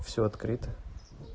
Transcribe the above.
все открыто